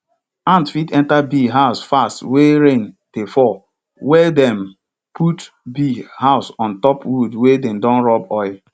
ant fit enta bee house fast wey rain dey fall welldem put bee house on top wood wey dem don rub oil